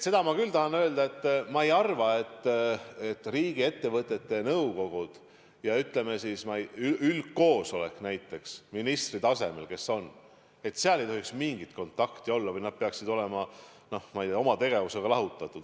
Seda ma küll tahan öelda, et ma ei arva, et riigiettevõtte nõukogul ja, ütleme, üldkoosolekul näiteks, ministri tasemel, ei tohiks mingit kontakti olla või nad peaksid olema, ma ei tea, oma tegevustes lahutatud.